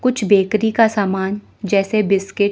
कुछ बेकरी का सामान जैसे बिस्किट --